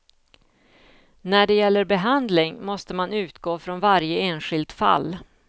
När det gäller behandling måste man utgå från varje enskilt fall.